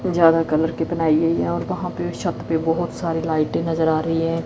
ज्यादा कलर कितना है और कहां पर है छत पर बहुत सारी लाइट नजर आ रही है।